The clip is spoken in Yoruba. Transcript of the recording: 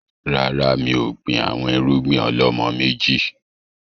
Rárá, mi ò gbìn àwọn irúgbìn ọ̀lọ́mọ méjì